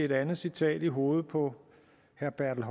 et andet citat i hovedet på herre bertel